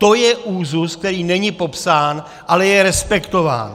To je úzus, který není popsán, ale je respektován.